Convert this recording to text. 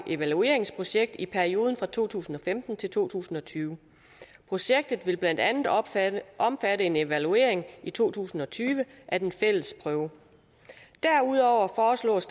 evalueringsprojekt i perioden fra to tusind og femten til to tusind og tyve projektet vil blandt andet omfatte omfatte en evaluering i to tusind og tyve af den fælles prøve derudover foreslås